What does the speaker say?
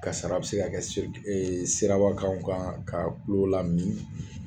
Kasara a bɛ se ka kɛ siraba kanw kan ka kulo lamin